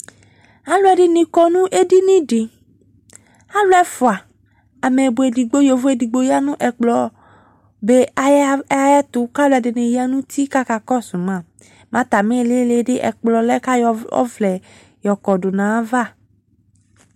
Aluɛde ne kɔ no edini de Alu ɛfua, amɛbɔ edigbo, yovo edigbo ya no ɛkplɔ be ay ayero ko a ɛlɛde ne ya nu uti ko aka kɔso ma Ma atame ilili de ɛkplɔ lɛ ka yɔ ɔvlɛ kɔdo no ava